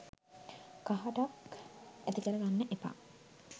කහටක් ඇති කර ගන්න එපා